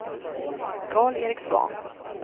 Karl-Erik Svahn